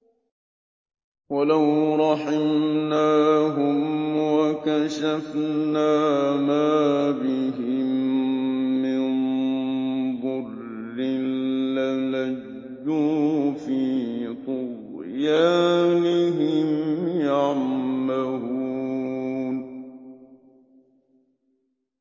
۞ وَلَوْ رَحِمْنَاهُمْ وَكَشَفْنَا مَا بِهِم مِّن ضُرٍّ لَّلَجُّوا فِي طُغْيَانِهِمْ يَعْمَهُونَ